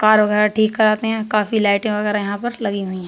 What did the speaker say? Car वगैरह ठीक कराते है। काफी लाइटें वगैरह यहाँ पर लागी हुई हैं।